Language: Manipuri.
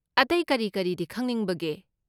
ꯑꯇꯩ ꯀꯔꯤ ꯀꯔꯤꯗꯤ ꯈꯪꯅꯤꯡꯕꯒꯦ?